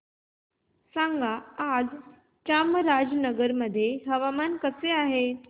सांगा आज चामराजनगर मध्ये हवामान कसे आहे